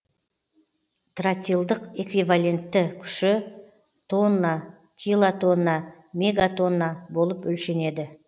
тротилдық эквивалентті күші тонна килотонна мегатонна болып өлшенеді